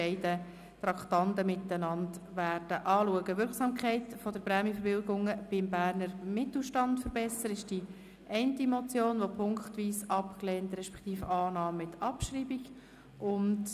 Beim Traktandum 23, «Wirksamkeit der Prämienverbilligungen beim Berner Mittelstand verbessern» handelt es sich um eine Motion, die punktweise abgelehnt respektive mit Abschreibung angenommen wird.